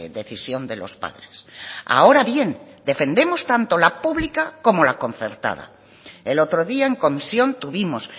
decisión de los padres ahora bien defendemos tanto la pública como la concertada el otro día en comisión tuvimos